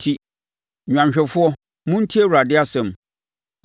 enti, nnwanhwɛfoɔ, montie Awurade asɛm: